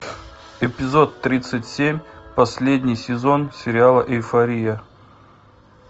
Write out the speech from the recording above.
эпизод тридцать семь последний сезон сериала эйфория